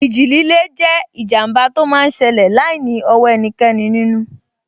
Ìjì líle jẹ́ ìjàmbá tó máa n ṣẹlẹ̀ láìní ọwọ́ ẹnikẹ́ni nínú